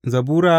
Zabura Sura